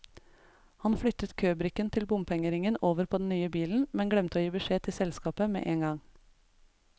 Han flyttet købrikken til bompengeringen over på den nye bilen, men glemte å gi beskjed til selskapet med en gang.